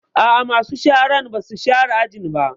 A'a, masu sharan ba su share ajin ba